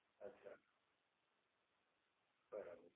અચ્છા, બરાબર.